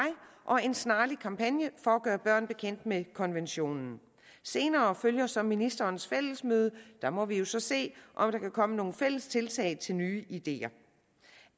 og en snarlig kampagne for at gøre børn bekendt med konventionen senere følger så ministerens fællesmøde og der må vi jo så se om der kan komme nogle fælles tiltag til nye ideer